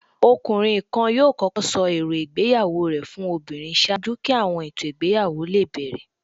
Ọkunrin kan yọọ kọkọ sọ eró ìgbéyàwó rẹ fún obírín ṣaaju ki awọn eto igbeyawo le bẹrẹ.